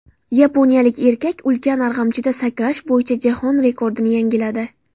Yaponiyalik erkak ulkan arg‘amchida sakrash bo‘yicha jahon rekordini yangiladi .